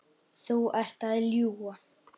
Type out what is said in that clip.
Þú ert að ljúga!